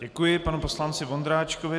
Děkuji panu poslanci Vondráčkovi.